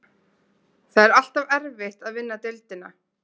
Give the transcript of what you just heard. Það er alltaf erfitt að vinna deildina.